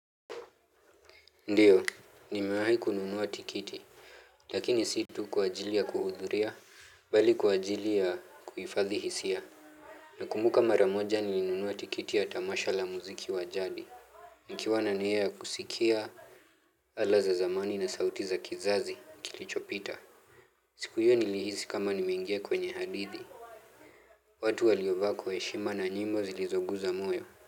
Ndiyo, nimewahi kununua tikiti, lakini si tu kwa ajili ya kuhudhuria, bali kwa ajili ya kuhifadhi hisia. Nakumbuka mara moja nilinunua tikiti ya tamasha la muziki wa jadi. Nikiwa na nia ya kusikia ala za zamani na sauti za kizazi kilichopita siku hiyo nilihisi kama nimeingia kwenye hadithi. Watu waliovaa kwa heshima na nyimbo zilizogusa moyo.